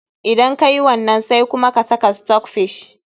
Idan ka yi wannan, sai kuma ka sa stockfish.